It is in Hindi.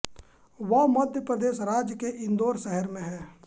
वह मध्य प्रदेश राज्य के इंदौर शहर से हैं